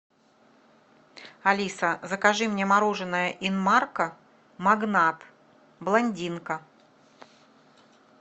алиса закажи мне мороженое инмарко магнат блондинка